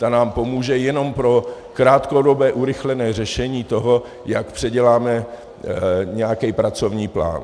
Ta nám pomůže jenom pro krátkodobé urychlené řešení toho, jak předěláme nějaký pracovní plán.